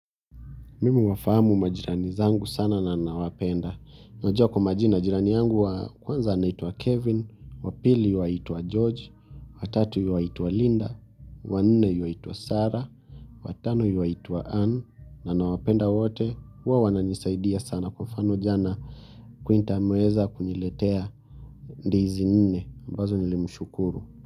Mimi huwafahamu majirani zangu sana na nawapenda. Najua kwa majina majirani yangu wa kwanza anaitwa Kevin, wa pili yuaitwa George, watatu yuaitwa Linda, wanne yuwaitwa Sarah, watano yuwaitwa Anne, na nawapenda wote, huwa wananisaidia sana kwa mfano jana Quinta ameweza kuniletea ndizi nne, mbazo nilimshukuru.